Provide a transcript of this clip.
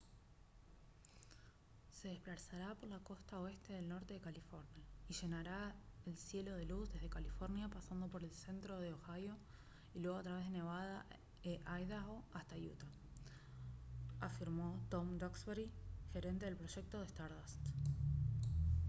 «se desplazará por la costa oeste del norte de california y llenará el cielo de luz desde california pasando por el centro de ohio y luego a través de nevada e idaho hasta utah» afirmó tom duxbury gerente del proyecto de stardust